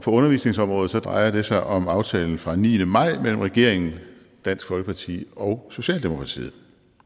undervisningsområdet drejer det sig om aftalen fra den niende maj mellem regeringen dansk folkeparti og socialdemokratiet